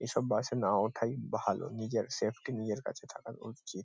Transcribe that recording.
এসব বাস -এ না ওঠাই ভালো নিজের সেফটি নিজের কাছে থাকা উ-চিত ।